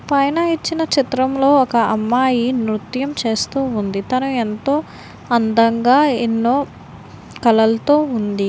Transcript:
పైన ఇచ్చిన చిత్రంలో ఒక అమ్మాయి నృత్యం చేస్తూ ఉంది. తను ఎంతో అందంగా ఎన్నో కలలతో ఉంది.